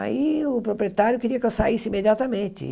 Aí o proprietário queria que eu saísse imediatamente.